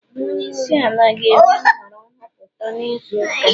Onye isi ala ga-eme nhọrọ nhọpụta n'izu ụka a